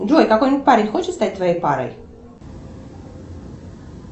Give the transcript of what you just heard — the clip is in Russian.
джой какой нибудь парень хочет стать твоей парой